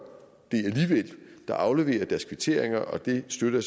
det afleverer deres kvitteringer og det støtter